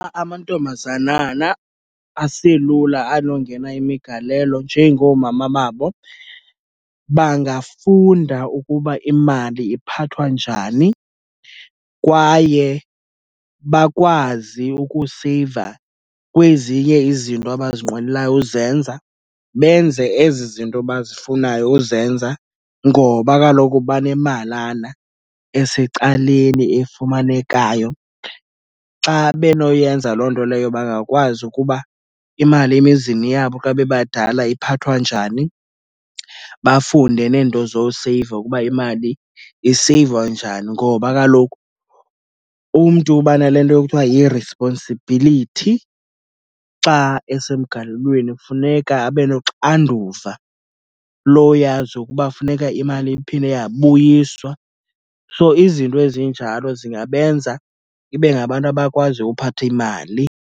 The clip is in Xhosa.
Amantombazanana aselula anongena imigalelo njengoomama babo bangafunda ukuba imali iphathwa njani, kwaye bakwazi ukuseyiva kwezinye izinto abazinqwenelayo uzenza, benze ezi zinto bazifunayo uzenza ngoba kaloku banemalana esecaleni efumanekayo. Xa benoyenza loo nto leyo bangakwazi ukuba imali emizini yabo xa bebadala iphathwa njani. Bafunde neento zoseyiva ukuba imali iseyivwa njani, ngoba kaloku umntu uba nale nto ekuthiwa yi-responsibility. Xa esemgalelweni funeka abe noxanduva loyazi ukuba funeka imali iphinde yabuyiswa. So, izinto ezinjalo zingabenza ibe ngabantu abakwaziyo uphatha imali.